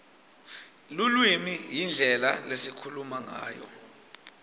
lulwimi yindlela lesikhuluma ngayo